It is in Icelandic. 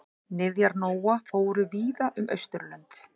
Niðjar Nóa fóru víða um Austurlönd.